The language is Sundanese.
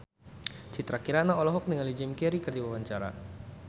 Citra Kirana olohok ningali Jim Carey keur diwawancara